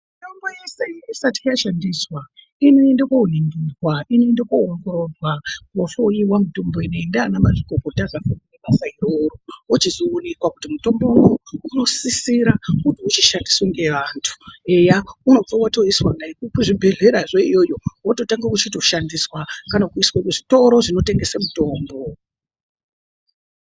Mitombo yeshe isati yashandiswa ,inoende koningirwa .Inoende kundoongororwa mutombo inei ndiana mazvikokota vanoite basa iroro. Wochizoonekwa kuti mutombo uyu unosisira kuti uchishandiswa ngevantu .Unobva watoiswa dani kuzvibhehlera yona iyoyo wochitotanga kutoshandiswa ,kana kuiswa kuzvitoro zvinotengese mutombo.